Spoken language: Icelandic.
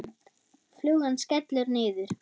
Flugan skellur niður.